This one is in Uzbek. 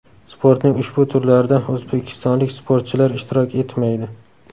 Sportning ushbu turlarida o‘zbekistonlik sportchilar ishtirok etmaydi.